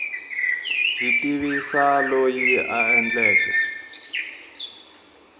byi tivisa loyi a endleke